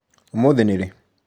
ũmũthĩ nĩ rĩ?